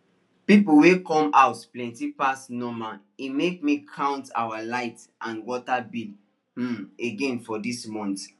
people wey come house plenty pass normal e make me count our light and water bill um again for dis month